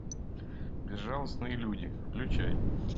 безжалостные люди включай